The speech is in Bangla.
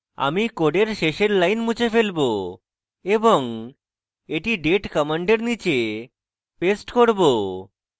আমি code শেষের line মুছে ফেলবো এবং এটি date command নীচে paste করব